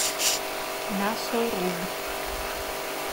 мясоруб